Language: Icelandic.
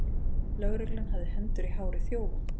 Lögreglan hafði hendur í hári þjófa